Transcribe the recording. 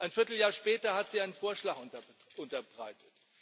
ein Vierteljahr später hat sie einen Vorschlag unterbreitet.